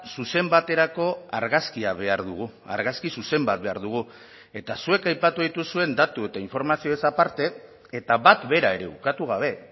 zuzen baterako argazkia behar dugu argazki zuzen bat behar dugu eta zuek aipatu dituzuen datu eta informazioez aparte eta bat bera ere ukatu gabe